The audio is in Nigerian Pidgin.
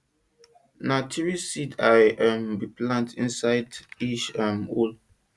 na three seed i um bin plant inside each um hole